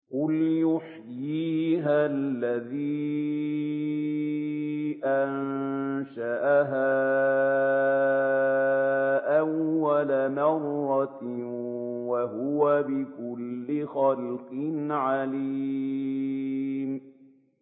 قُلْ يُحْيِيهَا الَّذِي أَنشَأَهَا أَوَّلَ مَرَّةٍ ۖ وَهُوَ بِكُلِّ خَلْقٍ عَلِيمٌ